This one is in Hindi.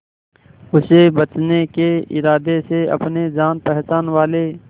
उसे बचने के इरादे से अपने जान पहचान वाले